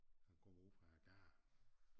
Han kommer ude fra æ gade